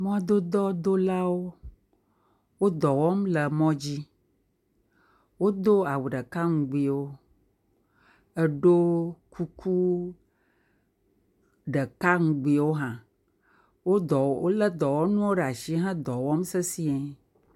Mɔdodɔdolawo, wodɔ wɔm le mɔdzi. Wodo awu ɖeka ŋugbiwo, eɖɔ kuku ɖeka ŋugbiwo hã, wo ɖɔ, wole dɔwɔnuwo ɖe asi he ɖɔ wɔm sesie.